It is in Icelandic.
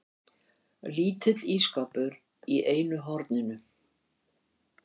Lítill ísskápur í einu horninu.